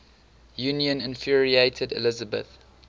union infuriated elizabeth